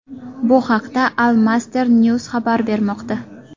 Bu haqda Al Masdar News xabar bermoqda .